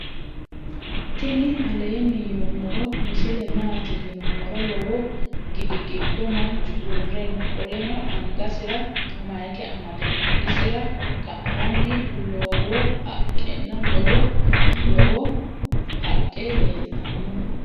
tini aleni yiinumoro misile maati .yiinumor. lowo gidi gido manchu uure noo. qoleno angasira mayike amade noo isira ka"anni loowo haqena loowo lowo qae leltano.